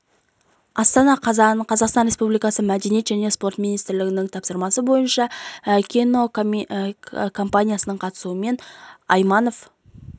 астана қазан қаз қазақстан республикасы мәдениет және спорт министрлігінің тапсырысы бойынша кинокомпаниясының қатысуымен айманов